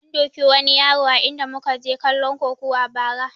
An duki wani yaro a inda muka je kalon kokuwa ba ra